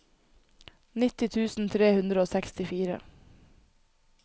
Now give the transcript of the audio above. nitti tusen tre hundre og sekstifire